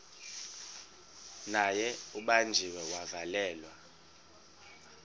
naye ubanjiwe wavalelwa